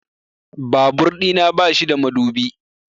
Babur ɗina ba shi da madubi